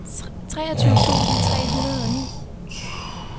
treogtyve tusind tre hundrede og ni